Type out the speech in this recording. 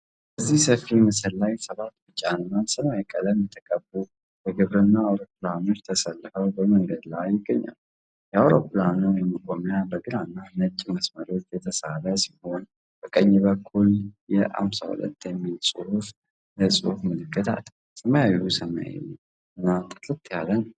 በዚህ ሰፊ ምስል ላይ ሰባት ቢጫና ሰማያዊ ቀለም የተቀቡ የግብርና አውሮፕላኖች ተሰልፈው በመንገድ ላይ ይገኛሉ። የአውሮፕላኑ መቆሚያ በግራና ነጭ መስመሮች የተሳለ ሲሆን፣ በቀኝ በኩል "የን52" የሚል ትልቅ የጽሑፍ ምልክት አለ። ሰማዩ ሰማያዊና ጥርት ያለ ነው።